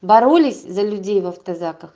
боролись за людей в автозаках